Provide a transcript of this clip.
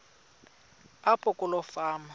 apho kuloo fama